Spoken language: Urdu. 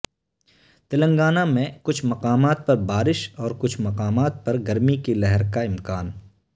تلنگانہ میں کچھ مقامات پر بارش اور کچھ مقامات پر گرمی کی لہر کا امکان